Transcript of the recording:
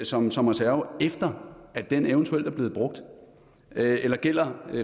som som reserve efter at den eventuelt er blevet brugt eller gælder